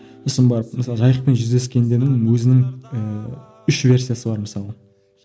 сосын барып мысалы жайықпен жүздескен өзінің ііі үш версиясы бар мысалы